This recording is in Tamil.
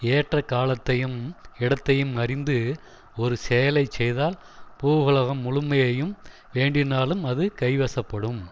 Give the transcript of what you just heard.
ஏற்ற காலத்தையும் இடத்தையும் அறிந்து ஒரு செயலை செய்தால் பூவுலகம் முழுமையையும் வேண்டினாலும் அது கைவசப்படும்